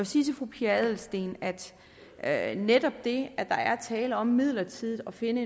sige til fru pia adelsteen at netop det at der er tale om midlertidigt at finde